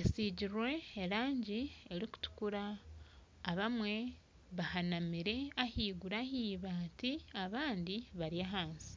esigirwe erangi erikutukura abamwe bahanamire ahaiguru ahi ibaati abandi bari ahansi